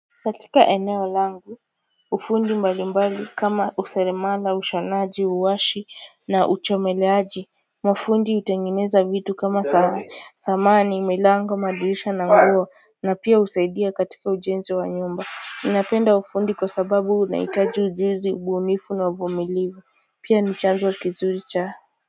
Katika eneo langu, ufundi mbali mbali kama useremala, ushonaji, uwashi na uchomeleaji, mafundi utengeneza vitu kama samani, milango, madirisha na nguo na pia husaidia katika ujenzi wa nyumba. Napenda ufundi kwa sababu unahitaji ujuzi, ubunifu na uvumilivu, pia ni chanzo kizuri cha.